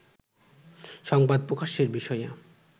সংবাদ প্রকাশের বিষয়ে